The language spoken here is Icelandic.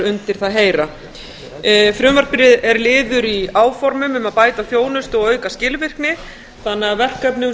undir það heyra frumvarpið er liður í áformum um að bæta þjónustu og auka skilvirkni þannig að verkefnum